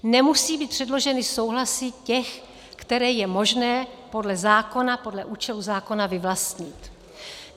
Nemusí být předloženy souhlasy těch, které je možné podle zákona, podle účelu zákona vyvlastnit.